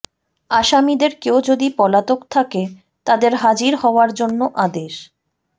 আসামিদের কেউ যদি পলাতক থাকে তাদের হাজির হওয়ার জন্য আদেশ